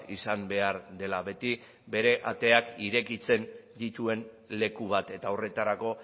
izan behar dela beti bere ateak irekitzen dituen leku bat eta horretarako